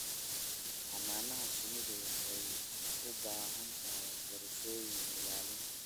Xannaanada shinnidu waxay u baahan tahay qorshooyin ilaalin.